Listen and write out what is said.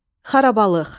Xarabalıq.